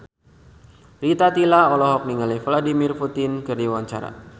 Rita Tila olohok ningali Vladimir Putin keur diwawancara